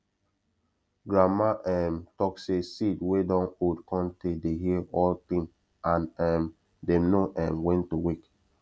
grandma um talk say seed wey dun old cun tay dey hear all thing and um dem know um when to wake